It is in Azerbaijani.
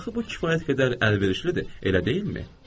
Axı bu kifayət qədər əlverişlidir, elə deyilmi?